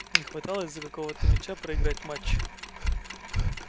не хватало из-за какого-то мяча проиграть матч